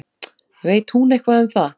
Veit hún eitthvað um það?